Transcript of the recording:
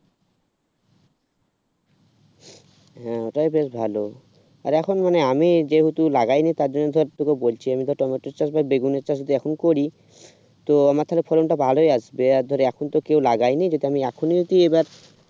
হ্যাঁ তাও বেশ ভালো আর এখন মানে আমি যেহেতু লাগাইনি তার জন্য ধর তোকে বলছিলাম মোটামুটি তবে বেগুনের চাষ এখন করি তো আমার তাহলে ফলনটা ভালোই আসবে। আর ধর এখন তো কেউ লাগায়নি যদি আমি এখনই যদি এবার